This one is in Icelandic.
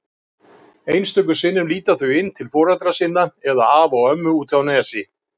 Einstöku sinnum líta þau inn til foreldra sinna eða afa og ömmu úti á Nesi.